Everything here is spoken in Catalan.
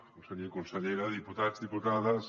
conseller i consellera diputats diputades